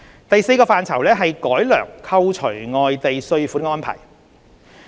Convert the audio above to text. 第四個範疇是改良扣除外地稅款的安排。